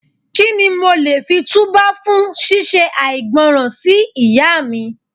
Kí ni mo lè fi tú bá fún ṣí ṣe àìgbọràn sí Ìyá mi.